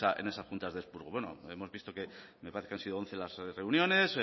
en esas juntas de expurgo bueno hemos visto que me parece que han sido once las reuniones